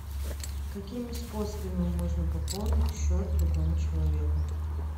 какими способами можно пополнить счет другому человеку